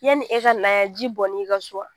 Yan ni e ka na yan, ji bɔn n'ii kan so wa?